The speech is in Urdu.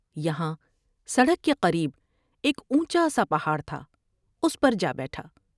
یہاں سڑک کے قریب ایک اونچا سا پہاڑ تھا اس پر جا بیٹھا ۔